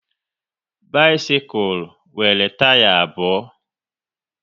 Bisikul nwere taya abụọ